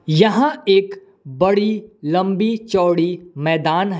यहाँ एक बड़ी लम्बी चौड़ी मैदान है।